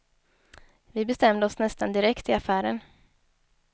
Vi bestämde oss nästan direkt i affären.